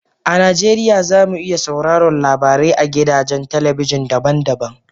A Najeriya, za mu iya sauraron labarai a gidajen talabijin daban-daban